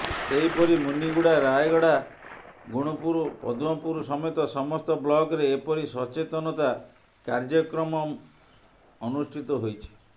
ସେହିପରି ମୁନିଗୁଡା ରାୟଗଡା ଗୁଣୁପୁର ପଦ୍ମପୁରସମେତ ସମସ୍ତ ବ୍ଲକରେ ଏପରି ସଚେତନତା କାର୍ୟ୍ୟକ୍ରମ ମନ ଅନୁଷ୍ଠିତ ହୋଇଛି